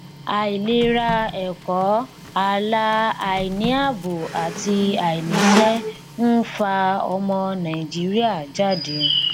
àìlera ẹkọ ààlà àìníàbò àti àìníṣẹ ń fa ọmọ nàìjíríà jáde